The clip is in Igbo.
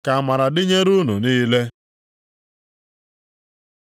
Ka amara dịnyere unu niile.